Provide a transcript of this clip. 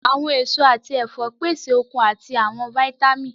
Awọn eso ati ẹfọ pese okun ati awọn vitamin